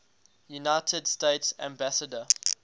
united states ambassador